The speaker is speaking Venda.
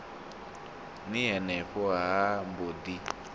ni henefho ha mbo ḓi